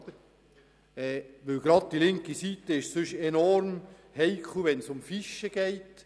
Gerade die linke Seite ist sonst enorm vorsichtig, wenn es um Fichen geht.